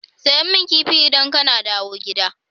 Sayi min Kifi idan kana dawo gida.